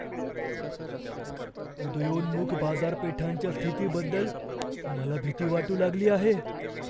उदयोन्मुख बाजारपेठांच्या स्थितीबद्दल मला भीती वाटू लागली आहे.